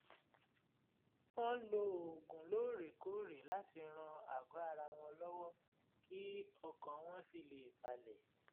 wọ́n ń lo oògùn lóòrèkóòrè láti ran àgọ́ ara wọn lọ́wọ́ kí ọkàn wọn sì lè balẹ̀